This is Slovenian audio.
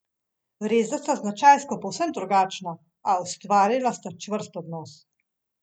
Resda sta značajsko povsem drugačna, a ustvarila sta čvrst odnos.